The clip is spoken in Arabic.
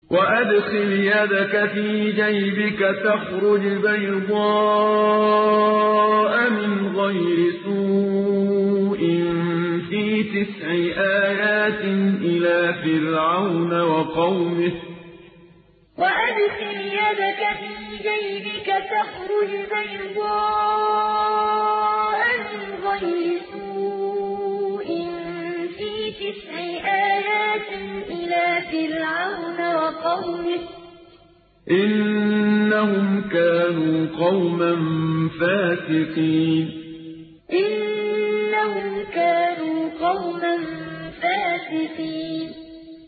وَأَدْخِلْ يَدَكَ فِي جَيْبِكَ تَخْرُجْ بَيْضَاءَ مِنْ غَيْرِ سُوءٍ ۖ فِي تِسْعِ آيَاتٍ إِلَىٰ فِرْعَوْنَ وَقَوْمِهِ ۚ إِنَّهُمْ كَانُوا قَوْمًا فَاسِقِينَ وَأَدْخِلْ يَدَكَ فِي جَيْبِكَ تَخْرُجْ بَيْضَاءَ مِنْ غَيْرِ سُوءٍ ۖ فِي تِسْعِ آيَاتٍ إِلَىٰ فِرْعَوْنَ وَقَوْمِهِ ۚ إِنَّهُمْ كَانُوا قَوْمًا فَاسِقِينَ